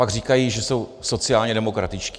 Pak říkají, že jsou sociálně demokratičtí.